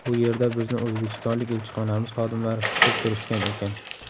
U yerda bizni O‘zbekistonlik elchixonamiz xodimlari kutib turishgan ekan.